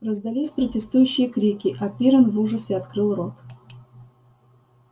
раздались протестующие крики а пиренн в ужасе открыл рот